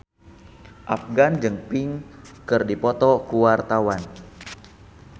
Afgan jeung Pink keur dipoto ku wartawan